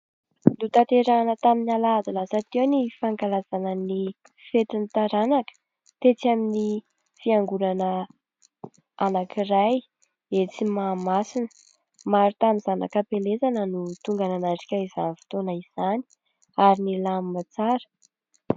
Notanterahina tamin'ny alahady lasa teo ny fankalazana ny fetin'ny taranaka tetsy amin'ny fiangonana anankiray etsy Mahamasina. Maro tamin'ny zanaka am-pielezana no tonga nanatrika izany fotoana izany ary nilamina tsara.